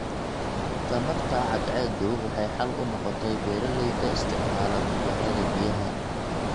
Tamarta cadceedu waxay xal u noqotay beeralayda isticmaala matoorada biyaha.